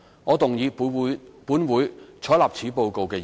我動議"本會採納此報告"的議案。